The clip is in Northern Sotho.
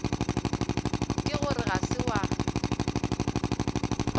ke gore ga se wa